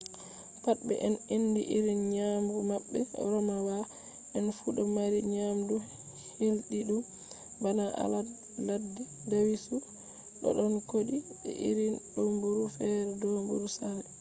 pat be en andi irin nyamdu mabbe romawa en fu do mari nyamdu hildidum bana alade ladde dawisu dodon kodi be irin domburu fere domburu sare